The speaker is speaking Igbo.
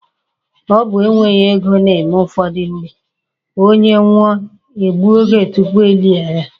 Ọ bụ e nweghi ego na-eme ụfọdụ mgbe, onye nwụọ, e gbuo oge tupu e lie ya.